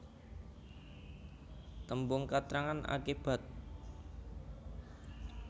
Tembung katrangan akibat